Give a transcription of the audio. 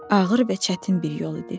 Ağır və çətin bir yol idi.